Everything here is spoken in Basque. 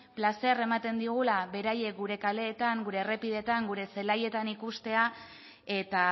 plazerra ematen digula beraiek gure kaleetan gure errepidetan gure zelaietan ikustea eta